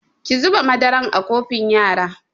Ki zuba madaran a kofin yara!